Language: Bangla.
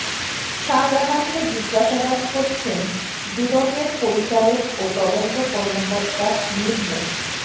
শাহজাহানকে জিজ্ঞাসাবাদ করছেন দুদকের পরিচালক ও তদন্ত কর্মকর্তা মীর মো